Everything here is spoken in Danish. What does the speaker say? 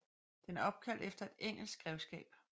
Den er opkaldt efter et engelsk grevskab